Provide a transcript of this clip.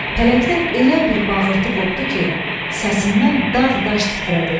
Pələngdən elə bir bağırtı qopdu ki, səsindən dağ daş titrədi.